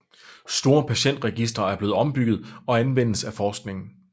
Store patientregistre er blevet opbyggede og anvendes af forskningen